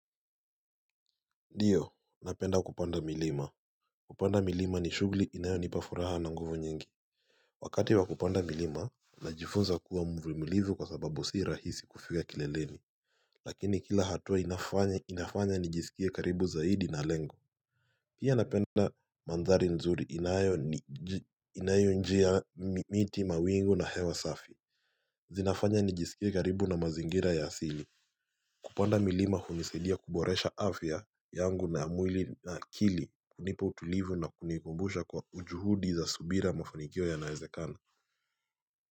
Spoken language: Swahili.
Diyo, napenda kupanda milima. Kupanda milima ni shughuli inayonipa furaha na nguvu nyingi. Wakati wa kupanda milima, najifunza kuwa mvumilivu kwa sababu sii rahisi kufia kileleni. Lakini kila hatua inafanya inafanya nijisikie karibu zaidi na lengo. Pia napenda mandhari nzuri inayo ni ji inayo njia, miti, mawingu na hewa safi. Zinafanya nijisikie karibu na mazingira ya asili. Kupanda milima hunisadia kuboresha afya yangu na ya mwili na akili, unipo utulivu na kunikumbusha kwa ujuhudi za subira mafanikio yanaezekana.